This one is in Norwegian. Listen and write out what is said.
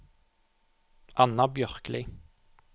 Anna Bjørkli